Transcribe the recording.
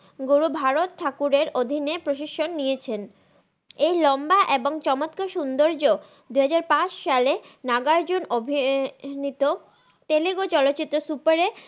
গর ভারত থাকুরের অধিন প্রসসক নিয়েছেন এই লম্বা এবং চমৎকার সউন্দরজ দুহাজার পাচ সালে নাগা আরজুন অভিনিতা তেলুগু চলচিত্রে সুপারে